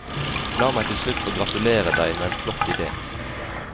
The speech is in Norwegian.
La meg til slutt få gratulere deg med en flott ide.